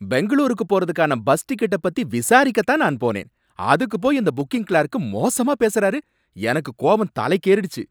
பெங்களூருக்கு போறதுக்கான பஸ் டிக்கெட்ட பத்தி விசாரிக்க தான் நான் போனேன், அதுக்கு போய் அந்த புக்கிங் கிளார்க் மோசமா பேசுறாரு, எனக்கு கோவம் தலைக்கேறிடுச்சு